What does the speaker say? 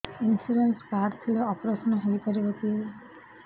insurance card ଥିଲେ operation ହେଇପାରିବ କି